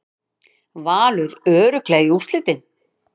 Valur örugglega í úrslitin